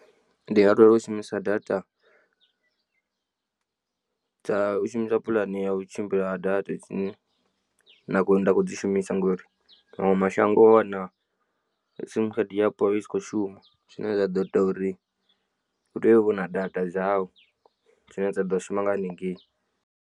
Ndi nga lwela u shumisa data dza u shumisa puḽane ya u tshimbila ha data dzine nda khou dzi shumisa ngori maṅwe mashango wa wana sim khadi yapo i si kho shuma zwine zwa ḓo ita uri u tea u vha u na data dzau dzine dza ḓo shuma nga hanengei.